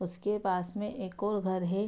उसके पास में एक ओर घर है।